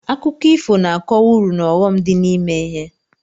Akụkọ ifo na-akọwa uru na ọghọm dị n'ime ihe.